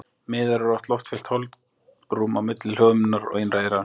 Miðeyrað er loftfyllt holrúm á milli hljóðhimnunnar og innra eyrans.